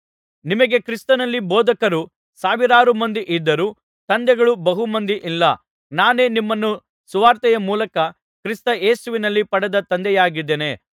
ನಿಮಗೆ ಕ್ರಿಸ್ತನಲ್ಲಿ ಬೋಧಕರು ಸಾವಿರಾರು ಮಂದಿ ಇದ್ದರೂ ತಂದೆಗಳು ಬಹು ಮಂದಿ ಇಲ್ಲ ನಾನೇ ನಿಮ್ಮನ್ನು ಸುವಾರ್ತೆಯ ಮೂಲಕ ಕ್ರಿಸ್ತ ಯೇಸುವಿನಲ್ಲಿ ಪಡೆದ ತಂದೆಯಾಗಿದ್ದೇನೆ